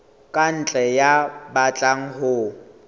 ka ntle ya batlang ho